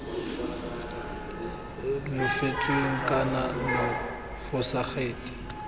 lo fetotsweng kana lo fosagatse